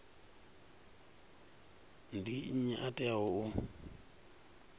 ndi nnyi a teaho u